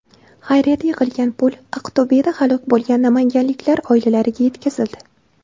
Xayriyada yig‘ilgan pul Aqto‘beda halok bo‘lgan namanganliklar oilalariga yetkazildi .